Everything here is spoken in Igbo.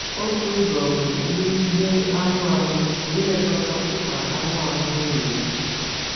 Otu ụzọ bụ n’ihe anụ ahụ — ilekọta mkpa anụ ahụ nwunye gị.